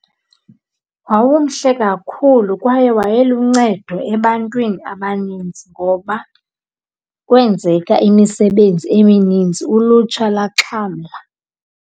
Wawumhle kakhulu kwaye wayeluncedo ebantwini abanintsi ngoba kwenzeka imisebenzi eminintsi, ulutsha lwaxhamla.